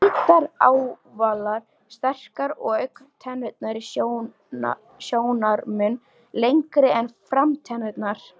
Hvítar, ávalar, sterkar og augntennurnar sjónarmun lengri en framtennurnar.